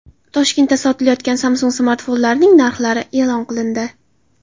Toshkentda sotilayotgan Samsung smartfonlarining narxlari e’lon qilindi.